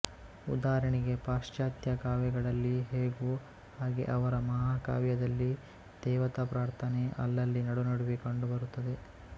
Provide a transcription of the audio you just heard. ಉದಾಹರಣೆಗೆ ಪಾಶ್ಚಾತ್ಯ ಕಾವ್ಯಗಳಲ್ಲಿ ಹೇಗೋ ಹಾಗೆ ಅವರ ಮಹಾಕಾವ್ಯದಲ್ಲಿ ದೇವತಾಪ್ರಾರ್ಥನೆ ಅಲ್ಲಲ್ಲಿ ನಡುನಡುವೆ ಕಂಡುಬರುತ್ತದೆ